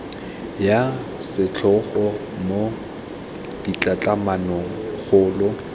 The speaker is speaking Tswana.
ya setlhogo mo ditlhatlhamanong kgolo